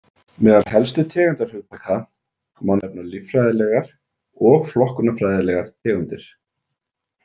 Meðal helstu tegundahugtaka má nefna líffræðilegar og flokkunarfræðilegar tegundir.